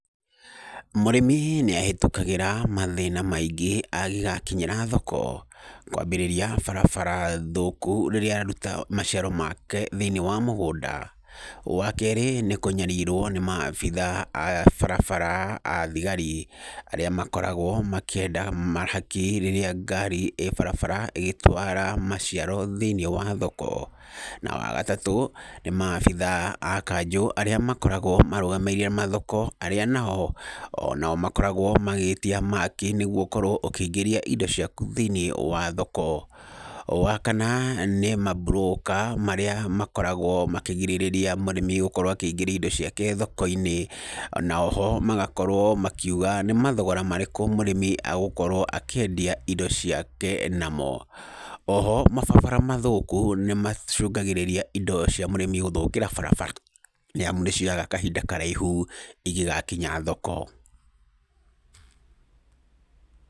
Mũrĩmi nĩahĩtũkagĩra mathĩna maingĩ angĩgakinyĩra thoko, kwambĩrĩria barabara thũku rĩrĩa aruta maciaro make thĩiniĩ wa mũgũnda. Wa kerĩ, nĩ kũnyarirwo nĩ maabithaa a barabara, a thigari arĩa makoragwo makĩenda mahaki rĩrĩa ngari ĩ barabara ĩgĩtwara maciaro thĩiniĩ wa thoko. Na wa gatatũ, nĩ maabithaa a kanjũ arĩa makoragwo marũgamĩrĩire mathoko arĩa nao makoragwo magĩtia mahaki nĩguo ũkorwo ũkĩingĩria indo ciaku thĩiniĩ wa thoko. Wa kana nĩ mamburũka marĩa makoragwo makĩgirĩrĩria mũrĩmi gũkorwo akĩingĩria indo ciake thoko-inĩ, na oho magakorwo makiuga nĩ mathogora marĩkũ mũrĩmi agũkorwo akĩendia indo ciake namo. Oho mabarabara mathũku nĩmacũngagĩrĩria indo cia mũrĩmi gũthũkĩra barabara, nĩamu nĩcioyaga kahinda karaihu ingĩgakinya thoko.